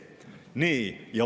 Nii.